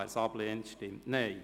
Wer dies ablehnt, stimmt Nein.